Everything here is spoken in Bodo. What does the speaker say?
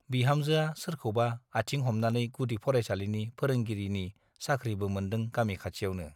बिहामजोआ सोरखौबा आथिं हमनानै गुदि फरायसालिनि फोरोंगिरिनि साख्रिबो मोनदों गामि खाथियावनो ।